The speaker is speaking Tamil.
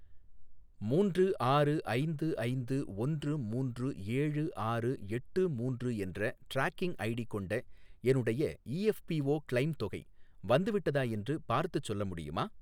மூன்று ஆறு ஐந்து ஐந்து ஒன்று மூன்று ஏழு ஆறு எட்டு மூணு என்ற ட்ராக்கிங் ஐடி கொண்ட என்னுடைய இஎஃப்பிஓ க்ளெய்ம் தொகை வந்துவிட்டதா என்று பார்த்துச் சொல்ல முடியுமா?